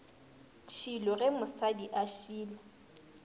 tšhilo ge mosadi a šila